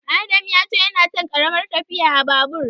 Adam ya ce yana son ƙaramar tafiya a Babur.